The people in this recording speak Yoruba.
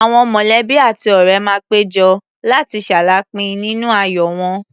Àwọn mọ̀lẹ́bí àti ọ̀ré máa pé jọ, láti ṣaláàápín nínú ayọ̀ wọn.